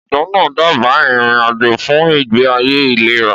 Ọ̀jọ̀gbọ́n náà dábàá ìrìn-àjò fún ìgbé ayé ìlera.